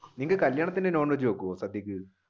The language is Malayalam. നിങ്ങൾ കല്യാണത്തിന് non veg വെക്കോ സദ്യക്ക്?